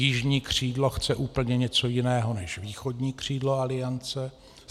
Jižní křídlo chce úplně něco jiného než východní křídlo Aliance.